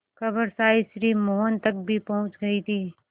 खबर शायद श्री मोहन तक भी पहुँच गई थी